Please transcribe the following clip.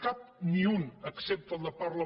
cap ni un excepte el de parla